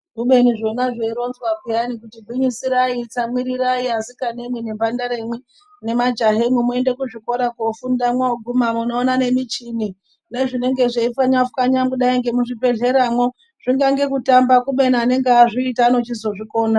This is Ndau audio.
Kubeni zvona zveironzwa peyani kuti gwinyisirai tsamwirirai asikana imwi nemhandara imwi nemajaha imwi muende kuzvikora koofunda mwooguma munoona nemichini, nezvinenge zveipfanywa pfanywa kudai ngemuzvibhehleya mwo, zvingange kutamba kubeni anenge azviita anochizozvikona.